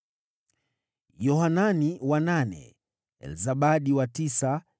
Yohanani wa nane, Elzabadi wa tisa,